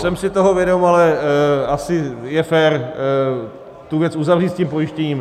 Jsem si toho vědom, ale asi je fér tu věc uzavřít s tím pojištěním.